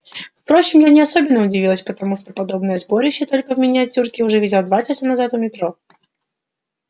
впрочем я не особенно удивилась потому что подобное сборище только в миниатюре уже видела часа два назад у метро